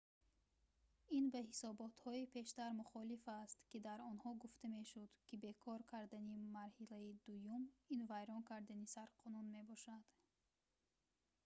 ин ба ҳисоботҳои пештар мухолиф аст ки дар онҳо гуфта мешуд ки бекор кардани марҳилаи дуюм ин вайрон кардани сарқонун мебошад